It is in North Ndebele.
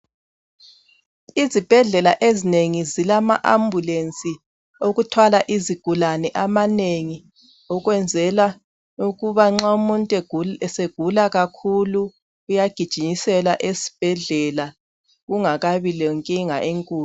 Izibhedlela ezinengi zilama ambulensi okuthwala izigulani amanengi ukwenzela ukuba nxa umuntu segula kakhulu uyagijinyiselwa esibhedlela kungakabi lenkinga enkulu.